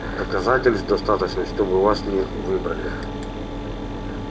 доказательств достаточно чтобы вас не выбрали